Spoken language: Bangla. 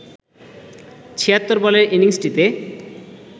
৭৬ বলের ইনিংসটিতে